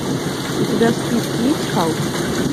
у тебя в списке есть халк